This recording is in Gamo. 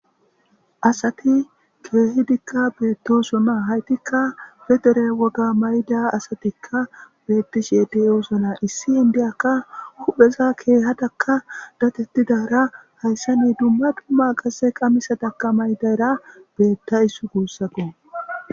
asati keehi dikka beettosonaa haytikka bedere woga mayda asatikka beettishiedi eusona issi indiyakka hupheza keehatakka datettidara hayssa ni dumma dumma qasse qamisataka maydayra beetta issu guussato